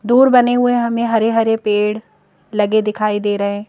दूर बने हुए हमें हरे-हरे पेड़ लगे दिखाई दे रहे हैं।